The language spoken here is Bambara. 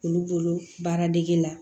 Olu bolo baara dege la